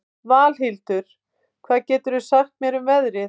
Valhildur, hvað geturðu sagt mér um veðrið?